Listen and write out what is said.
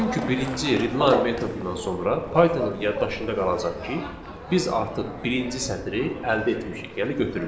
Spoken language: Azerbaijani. Çünki birinci readline metodundan sonra Pythonın yaddaşında qalacaq ki, biz artıq birinci sətri əldə etmişik, yəni götürmüşük.